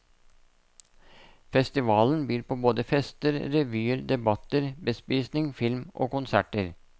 Festivalen byr på både fester, revyer, debatter, bespisning, film, og konserter.